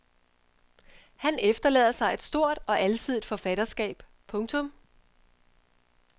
Han efterlader sig et stort og alsidigt forfatterskab. punktum